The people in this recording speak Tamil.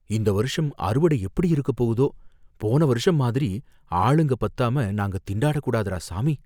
இந்த வருஷம் அறுவடை எப்படி இருக்கப்போகுதோ? போன வருஷம் மாதிரி ஆளுங்க பத்தாம நாங்க திண்டாடக் கூடாதுடா சாமி!